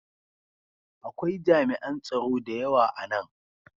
Akwai jami'an tsaro da yawa a nan.